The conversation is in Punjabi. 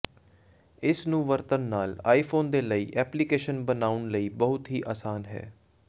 ਇਸ ਨੂੰ ਵਰਤਣ ਨਾਲ ਆਈਫੋਨ ਦੇ ਲਈ ਐਪਲੀਕੇਸ਼ਨ ਬਣਾਉਣ ਲਈ ਬਹੁਤ ਹੀ ਆਸਾਨ ਹੈ